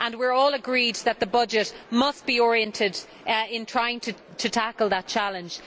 We are all agreed that the budget must be oriented towards trying to tackle that challenge.